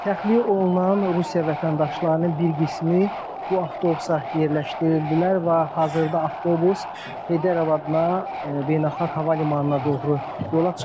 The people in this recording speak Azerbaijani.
Təxliyə olunan Rusiya vətəndaşlarının bir qismi bu avtobusa yerləşdirildilər və hazırda avtobus Heydər Əliyev adına Beynəlxalq Hava Limanına doğru yola çıxdı.